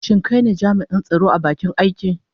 Shin kai ne jami'in tsaro a bakin aiki?